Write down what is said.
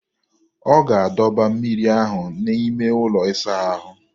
Ọ ga-adọba mmiri ahụ n'ime ụlọ ịsa ahụ.